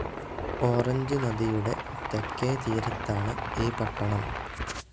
ഓറഞ്ച്നദിയുടെ തെക്കേ തീരത്താണ് ഈ പട്ടണം.